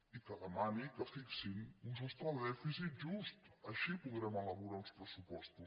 i que demani que fixin un sostre de dèficit just així podrem elaborar uns pressupostos